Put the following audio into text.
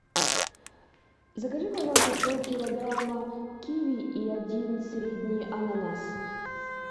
закажи пожалуйста полкилограмма киви и один средний ананас